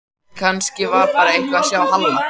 Kannski var eitthvað að hjá Halla